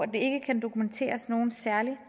der ikke kan dokumenteres nogen særlig